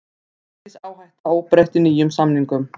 Gengisáhætta óbreytt í nýjum samningum